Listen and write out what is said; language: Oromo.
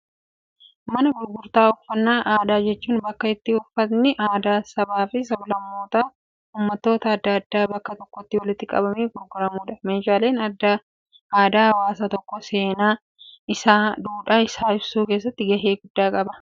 Mana gurgurtaa uffannaa aadaa jechuun, bakka itti uffatni aadaa sabaa fi sablammootaa uummattoota addaa addaa bakka tokkotti walitti qabamee gurguramudha. Meeshaaleen aadaa hawaasa tokko, seenaa isaa, duudhaa isaa ibsuu keessatti gahee guddaa qaba.